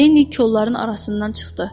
Linni kollarının arasından çıxdı.